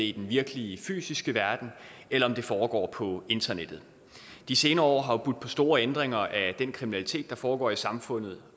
i den virkelige fysiske verden eller om det foregår på internettet de senere år har jo budt på store ændringer af den kriminalitet der foregår i samfundet